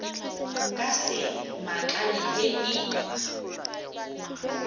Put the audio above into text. nka se makale ge e